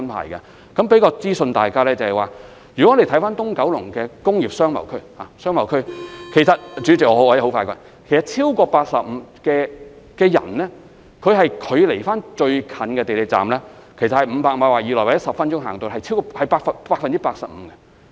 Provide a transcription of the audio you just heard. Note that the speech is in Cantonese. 我想向大家提供一項資訊，如果看看九龍東的商貿區——主席，我會盡快說完——其實將來超過 85% 的就業人士與最近的港鐵站只是距離500米以內，大約10分鐘便可步行到達。